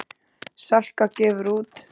Salka gefur út.